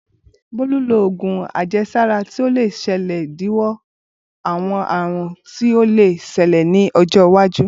Bolu lo òògùn àjẹsára ti o le ṣe idiwọ awọn àrùn tí o le ṣẹlẹ ni ọjọ iwaju.